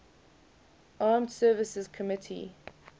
armed services committee